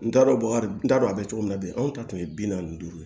N t'a dɔn baga n t'a dɔn a bɛ cogo min na bi anw ta tun ye bi naani ni duuru ye